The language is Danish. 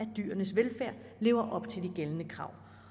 dyrenes velfærd lever op til de gældende krav